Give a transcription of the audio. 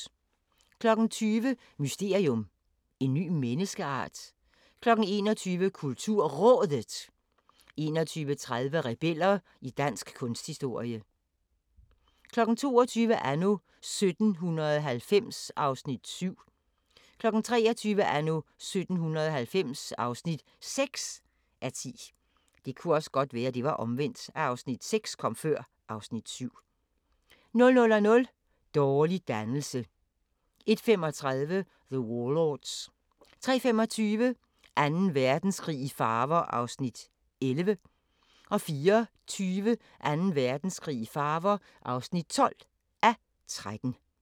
20:00: Mysterium: En ny menneskeart? 21:00: KulturRådet 21:30: Rebeller i dansk kunsthistorie 22:00: Anno 1790 (7:10) 23:00: Anno 1790 (6:10) 00:00: Dårlig dannelse 01:35: The Warlords 03:25: Anden Verdenskrig i farver (11:13) 04:20: Anden Verdenskrig i farver (12:13)